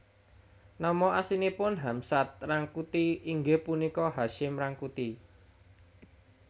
Nama aslinipun Hamsad Rangkuti inggih punika Hasyim Rangkuti